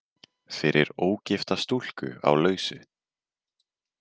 Fyrir ógifta stúlku á lausu.